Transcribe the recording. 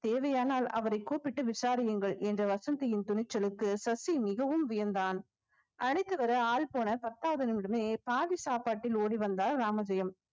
தேவையானால் அவரை கூப்பிட்டு விசாரியுங்கள் என்ற வசந்தியின் துணிச்சலுக்கு சசி மிகவும் வியந்தான் அழைத்து வர ஆள் போன பத்தாவது நிமிடமே பாதி சாப்பாட்டில் ஓடி வந்தார் ராமஜெயம்